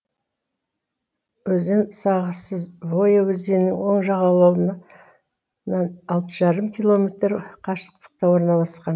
өзен сағасы воя өзенінің оң жағалауынан нан алты жарым километр қашықтықта орналасқан